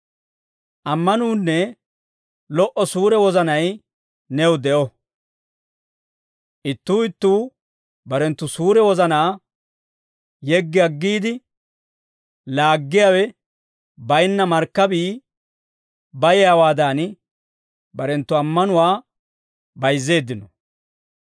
Ammanuunne lo"o suure wozanay new de'o. Ittuu ittuu barenttu suure wozanaa yeggi aggiide, laaggiyaawe baynna markkabii bayiyaawaadan, barenttu ammanuwaa bayizzeeddinno.